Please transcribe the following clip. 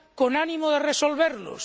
con ánimo de resolverlos